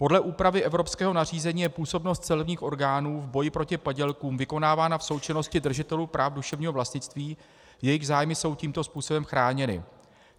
Podle úpravy evropského nařízení je působnost celních orgánů v boji proti padělkům vykonávána v součinnosti držitelů práv duševního vlastnictví, jejichž zájmy jsou tímto způsobem chráněny.